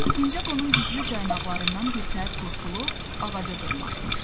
Sincab onun güclü caynaqlarından birtəhər qurtulub ağaca dırmaşmışdı.